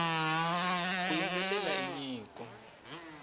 ku yimbelela i nyiko